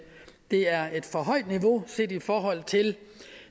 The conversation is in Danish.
er et for højt niveau set i forhold til